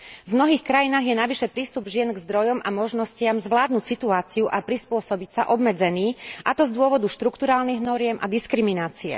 V mnohých krajinách je navyše prístup žien k zdrojom a možnostiam zvládnuť situáciu a prispôsobiť sa obmedzený, a to z dôvodu štrukturálnych noriem a diskriminácie.